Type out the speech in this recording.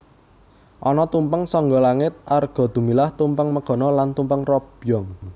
Ana tumpeng sangga langit Arga Dumilah Tumpeng Megono lan Tumpeng Robyong